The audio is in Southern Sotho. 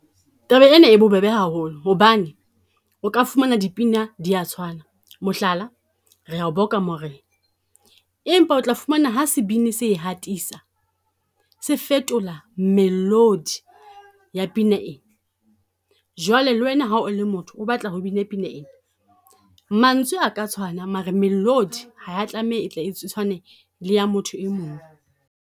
Taba ena e bobebe haholo hobane o ka fumana dipina di a tshwana. Mohlala, re ya o boka Morena empa o tla fumana ha sebini se e hatisa, se fetola melodi ya pina ena. Jwale le wena ha o le motho o batla ho bina pina e, mantswe a ka tshwana mare melodi ha ya tlameha e tle e tshwane le ya motho e mong.